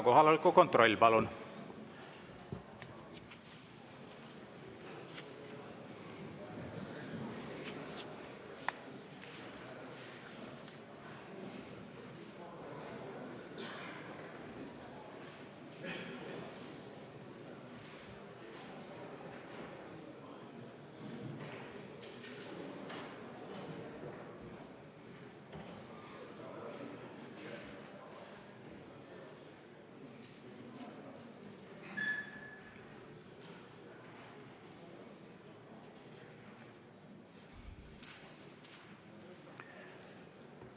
Kohaloleku kontroll, palun!